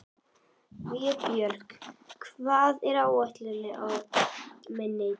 Vébjörg, hvað er á áætluninni minni í dag?